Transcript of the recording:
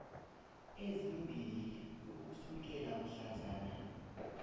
ezimbili ukusukela mhlazana